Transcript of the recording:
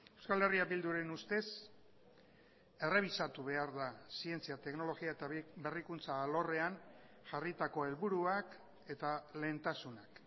euskal herria bilduren ustez errebisatu behar da zientzia teknologia eta berrikuntza alorrean jarritako helburuak eta lehentasunak